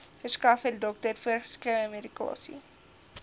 verskaffer dokter voorgeskrewemedikasie